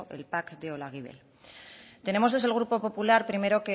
el pac de olaguibel tenemos desde el grupo popular primero